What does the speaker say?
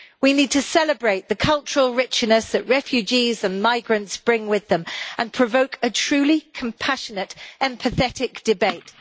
We need to celebrate the cultural richness that refugees and migrants bring with them and provoke a truly compassionate, empathetic debate.